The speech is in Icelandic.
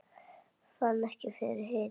Fann ekki fyrir hita